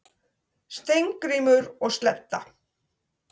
Steingrímur og Sledda,